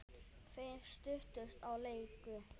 Þeir settust og léku.